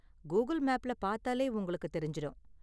Google மேப்ல பாத்தாலே உங்களுக்கு தெரிஞ்சுரும்.